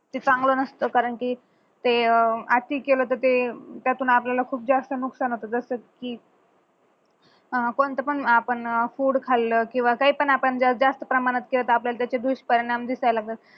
ते चांगल नसत कारण की ते अह अति केल तर ते त्यातून आपल्याला खूप जास्त नुकसान होत जस की अह कोणतं पण अह आपण food खाल्लं किंवा काय पण आपण जास्त प्रमाणात केलं तर आपल्याला त्याचे दुष्परिणाम दिसायला लागतात